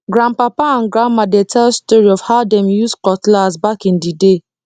grandpapa and grandma dey tell story of how dem use cutlass back in the day